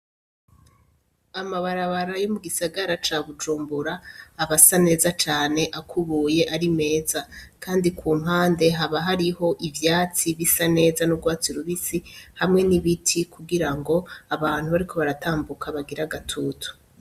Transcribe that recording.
Amabarabara yo mu gisagara ca bujumbura aba asa neza cane akubuye ari meza, kandi ku mpande haba hariho ivyatsi bisa neza n'igwatsi rubisi hamwe n'ibiti kugira ngo abantu bariko baratambuka bagire agatutu.